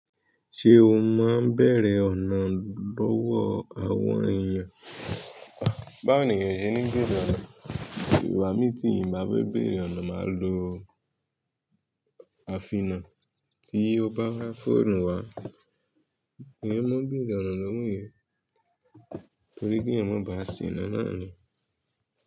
Ṣé o máa ń bẹ̀rẹ̀ ọ̀nà lọ́wọ́ àwọn èèyàn? Báwo ni eyàn oṣe ní bèrè ọ̀nà. Ìwà mi ti inbá fẹ bèrè ọ̀nà máa lo àfiná. Tí o bá wá fóònù wá, èèyàn mọ bèrè ọ̀nà lọ́wọ́ èèyàn torí kí èèyàn má ba à ṣiná náà ni.